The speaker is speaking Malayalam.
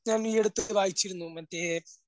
ഞാൻ ഈയടുത്ത് വായിച്ചിരുന്നു. മറ്റേ